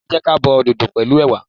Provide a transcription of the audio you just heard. Ẹ jẹ́ ka bo dodo pẹ̀lú ẹwà.